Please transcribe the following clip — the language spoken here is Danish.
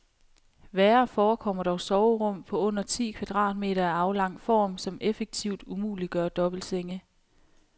Værre forekommer dog soverum på under ti kvadratmeter af aflang form, som effektivt umuliggør dobbeltsenge.